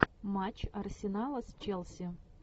матч арсенала с челси